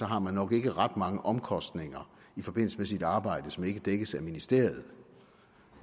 har man nok ikke ret mange omkostninger i forbindelse med sit arbejde som ikke dækkes af ministeriet